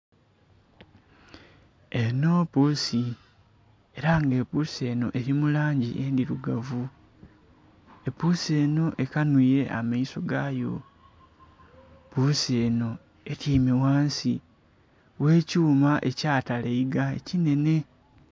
Enho puusi, ela nga epuusi enho eli mu langi endhilugavu. Epuusi enho ekanhwile amaiso gayo. Puusi enho atyaime ghansi gh'ekyuma ekyatalaiga ekinhenhe.